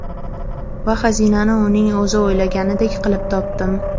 Va xazinani uning o‘zi o‘ylaganidek qilib topdim”.